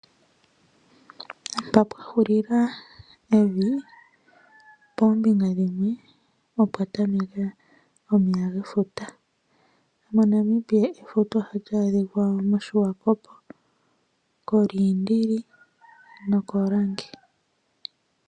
Mpa pwahulila evi pombinga dhimwe oko kwatamekela omeya gefuta, moNamibia efuta ohali adhikwa moSwakop, koLindili nokoLange.